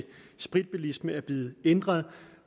spritbilisme er blevet ændret